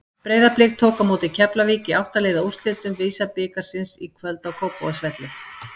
Breiðablik tók á móti Keflavík í átta liða úrslitum VISA-bikarsins í kvöld á Kópavogsvelli.